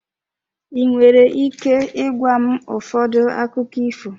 Ị nwere ike ịgwa m ụfọdụ akụkọ ifo?